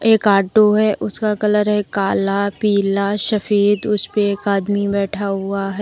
एक ऑटो है उसका कलर है काला पीला सफेद उस पे एक आदमी बैठा हुआ है।